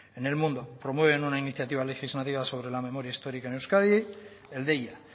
en el mundo promueven una iniciativa legislativa sobre la memoria histórica en euskadi el deia